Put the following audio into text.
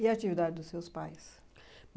E a atividade dos seus pais?